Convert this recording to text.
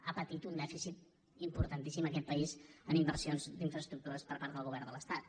ha patit un dèficit importantíssim aquest país en inversions d’infraestructures per part del govern de l’estat